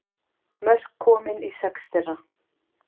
Mörk komin í sex þeirra